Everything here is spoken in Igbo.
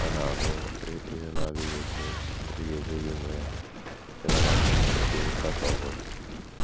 Ọ̀ na - abụ ihe na - adịghị ekwe - adịghị ekwe gị mee ịnabata ụdị nkatọ ọ bụla?